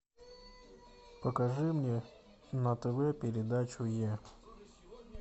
покажи мне на тв передачу е